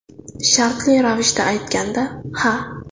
Shartli ravishda aytganda, ha.